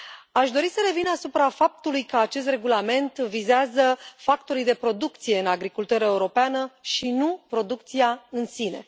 Aș dori să revin asupra faptului că acest regulament vizează factorii de producție în agricultura europeană și nu producția în sine.